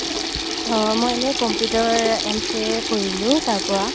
অ মই এনে computer ৰ MCA কৰিলো তাৰ পৰা